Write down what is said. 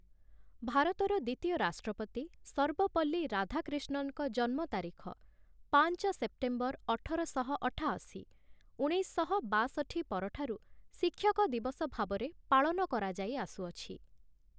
ଭାରତର ଦ୍ୱିତୀୟ ରାଷ୍ଟ୍ରପତି ସର୍ବପଲ୍ଲୀ ରାଧାକ୍ରିଷ୍ଣନଙ୍କ ଜନ୍ମ ତାରିଖ, ପାଞ୍ଚ ସେପ୍ଟେମ୍ବର ଅଠରଶହ ଅଠାଅଶୀ, ଉଣେଇଶଶହ ବାଷଠି ପରଠାରୁ ଶିକ୍ଷକ ଦିବସ ଭାବରେ ପାଳନ କରାଯାଇଆସୁଅଛି ।